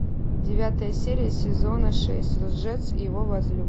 девятая серия сезона шесть лжец и его возлюбленная